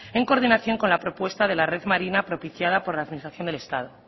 en coordinación con la propuesta de la red marina propiciada por la administración del estado